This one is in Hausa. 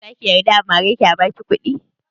Zaki yarda a mare ki a baki kuɗi?